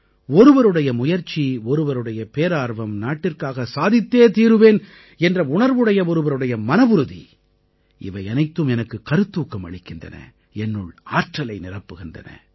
ஒருவருடைய முயற்சி ஒருவருடைய பேரார்வம் நாட்டிற்காக சாதித்தே தீருவேன் என்ற உணர்வுடைய ஒருவருடைய மனவுறுதி இவை அனைத்தும் எனக்கு கருத்தூக்கம் அளிக்கின்றன என்னுள் ஆற்றலை நிரப்புகின்றன